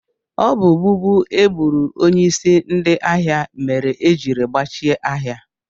Ọ bụ gbugbu egburu onyeisi ndị ahịa mere ejiri gbachie ahịa.